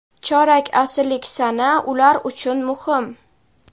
Chorak asrlik sana ular uchun muhim.